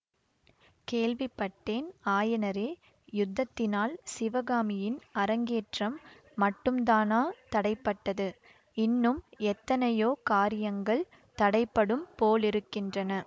கேள்விப்பட்டேன் ஆயனரே யுத்தத்தினால் சிவகாமியின் அரங்கேற்றம் மட்டுந்தானா தடைப்பட்டது இன்னும் எத்தனையோ காரியங்கள் தடைபடும் போலிருக்கின்றன